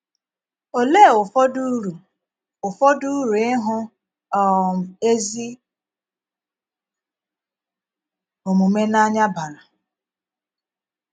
Òlee ụfọdụ ùru ụfọdụ ùru ịhù um ezi omume n’ànya bàrà?